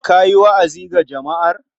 Ka yi wa'azi ga jama'ar.